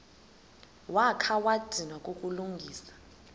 wakha wadinwa kukulungisa